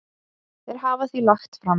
Þeir hafa því lagt fram